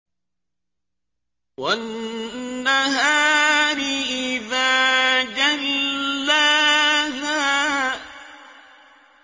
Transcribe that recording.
وَالنَّهَارِ إِذَا جَلَّاهَا